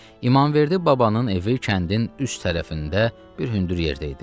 İmamverdi babanın evi kəndin üst tərəfində bir hündür yerdə idi.